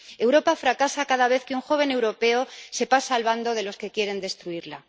Europa fracasa cada vez que un joven europeo se pasa al bando de los que quieren destruirla.